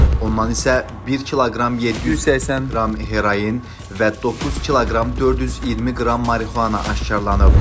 Ondan isə 1 kq 780 qram heroin və 9 kq 420 qram marixuana aşkar olunub.